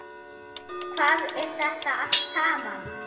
Hvað er þetta allt saman?